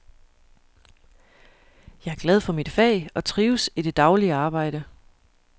Jeg er glad for mit fag og trives i det daglige arbejde.